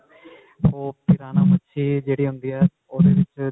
ਉਹ ਪਿਰਾਨਾ ਮੱਛੀ ਜਿਹੜੀ ਹੁੰਦੀ ਹੈ ਉਹ੍ਦੇ ਵਿੱਚ